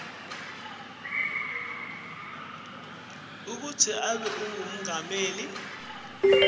kutsi abe ngumengameli